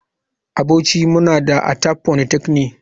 A bauchi muna da Atap polytechnic.